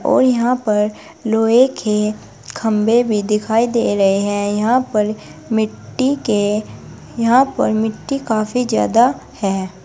और यहां पर लोहे के खंभे भी दिखाई दे रहे हैं यहां पर मिट्टी के यहां पर मिट्टी काफी ज्यादा है।